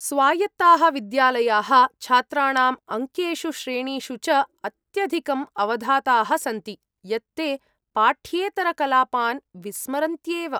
स्वायत्ताः विद्यालयाः छात्राणाम् अङ्केषु श्रेणीषु च अत्यधिकं अवधाताः सन्ति, यत् ते पाठ्येतरकलापान् विस्मरन्त्येव।